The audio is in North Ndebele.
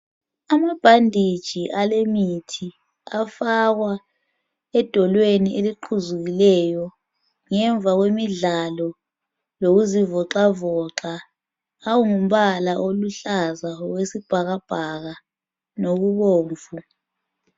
Amabhanditshi alemithi afakwa edolweni eliqhuzukileyo ngemva kwemidlalo lokuzivoxavoxa. Angumbala oluhlaza okwesibhakabhaka lokubomvu.